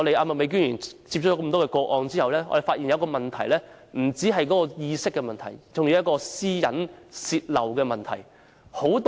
麥美娟議員接收多宗個案後，我們發現，這不單是意識的問題，還有泄露私隱的問題。